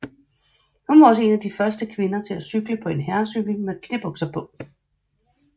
Hun var også en af de første kvinder til at cykle på en herrecykel med knæbukser på